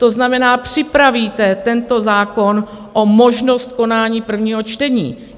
To znamená, připravíte tento zákon o možnost konání prvního čtení.